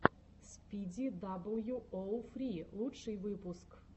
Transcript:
спиди дабл ю оу фри лучший выпуск